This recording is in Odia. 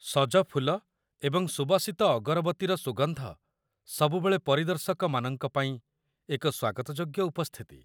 ସଜ ଫୁଲ ଏବଂ ସୁବାସିତ ଅଗରବତିର ସୁଗନ୍ଧ ସବୁବେଳେ ପରିଦର୍ଶକମାନଙ୍କ ପାଇଁ ଏକ ସ୍ୱାଗତଯୋଗ୍ୟ ଉପସ୍ଥିତି।